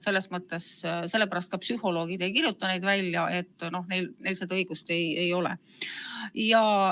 Just sellepärast psühholoogid neid välja ei kirjuta, neil seda õigust ei ole.